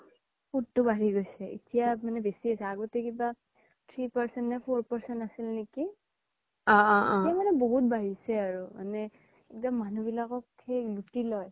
সোত তো বাঢ়ি গৈছে এতিয়া মানে বেচি হৈছে আগ্তে কিবা three percent নে four percent আছিল নেকি এই মানে বহুত বাঢ়িছে আৰু মানে সেই মানুহ বিলাকক সেই লোতি লই